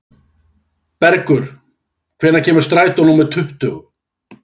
Bergur, hvenær kemur strætó númer tuttugu?